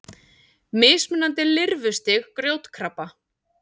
Mismunandi lirfustig grjótkrabba.